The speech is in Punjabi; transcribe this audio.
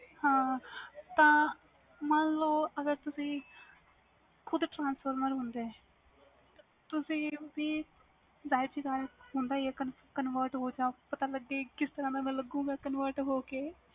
ਹੈ ਤਾ ਮਨ ਲੋ ਅਗਰ ਤੁਸੀ ਖੁਦ transformers ਹੁੰਦੇ ਤੁਸੀ ਵੀ ਜਾਹਿਰ ਜੀ ਗੱਲ ਹੁੰਦਾ ਹੀ ਆ convert ਹੋ ਜੋ ਕਿਸ ਤਰਾਂ ਦਾ ਲਾਗੋ convert ਹੋ ਕੇ